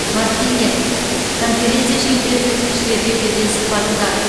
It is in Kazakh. мартинэ конференция шеңберінде тілшілерге берген сұхбатында